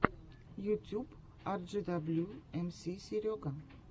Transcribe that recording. ютьюб арджидаблю эмси серега